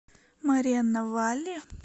морено валли